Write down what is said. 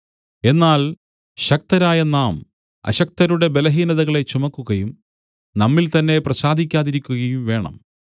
എന്നാൽ ശക്തരായ നാം അശക്തരുടെ ബലഹീനതകളെ ചുമക്കുകയും നമ്മിൽ തന്നേ പ്രസാദിക്കാതിരിക്കയും വേണം